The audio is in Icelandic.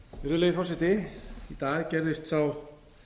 virðulegi forseti í dag gerðist sá